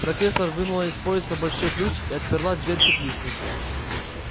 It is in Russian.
профессор вынула из пояса большой ключ и отперла дверь теплицы